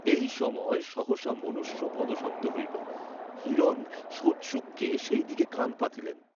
এই সময় সহসা মনুষ্য পদশব্দ হইল, হিরণ সৌৎসুক্যে সেই দিকে কাণ পাতিলেন।